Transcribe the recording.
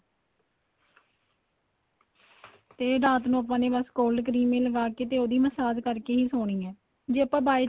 ਤੇ ਰਾਤ ਨੂੰ ਆਪਾਂ ਨੇ ਬੱਸ cold cream ਲਗਾਕੇ ਤੇ ਉਹਦੀ massage ਕਰਕੇ ਹੀ ਸੋਣੀ ਏ ਜੇ ਆਪਾਂ by